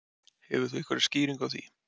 Hefur þú einhverja skýringu á því?